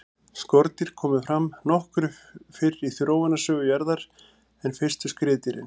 skordýr komu fram nokkuð fyrr í þróunarsögu jarðar en fyrstu skriðdýrin